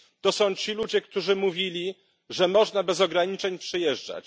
To są ci ludzie, którzy mówili, że można bez ograniczeń przyjeżdżać.